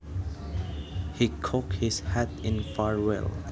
He cocked his hat in farewell